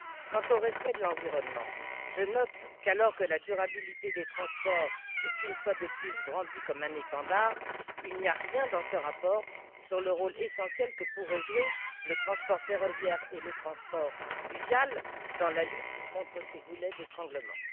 Quant au respect de l'environnement, je note qu'alors que la durabilité des transports est, une fois de plus, brandie comme un étendard, il n'y a rien dans ce rapport sur le rôle essentiel que pourraient jouer le transport ferroviaire et le transport fluvial dans la lutte contre ces goulets d'étranglement.